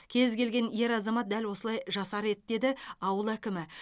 кез келген ер азамат дәл осылай жасар еді деді ауыл әкімі